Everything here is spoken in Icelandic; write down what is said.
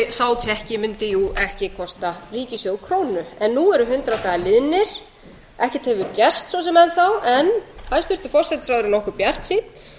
sá tékki mundi jú ekki kosta ríkissjóð krónu en nú eru hundrað dagar liðnir ekkert hefur gerst svo sem enn þá en hæstvirtur forsætisráðherra er nokkuð bjartsýnn